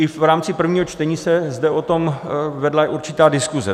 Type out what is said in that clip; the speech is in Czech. I v rámci prvního čtení se zde o tom vedla určitá diskuse.